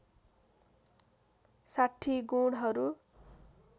६० गुणहरू